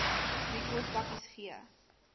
wie kospakkies gegee